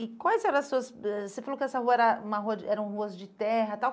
E quais eram as suas... eh você falou que essa rua era uma rua... eram ruas de terra e tal.